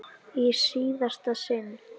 Í síðasta sinn.